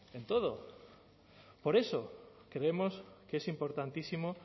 en todo en todo por eso creemos que es importantísimo